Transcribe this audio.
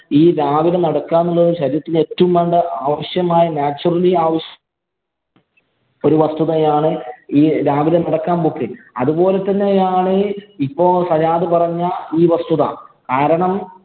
ഈ രാവിലെ നടക്കുക എന്നുള്ളത് ശരീരത്തിന്‍റെ ഏറ്റവും വേണ്ട ആവശ്യമായ naturally ഒരു വസ്തുതയാണ് ഈ രാവിലെ നടക്കാന്‍ പോക്ക്. അതുപോലെ തന്നെയാണ് ഇപ്പൊ സജാദ് പറഞ്ഞ ഈ വസ്തുത. കാരണം,